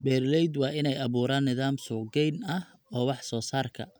Beeraleydu waa inay abuuraan nidaam suuqgeyn ah oo wax soo saarka.